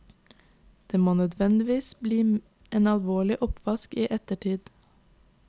Det må nødvendigvis bli en alvorlig oppvask i ettertid.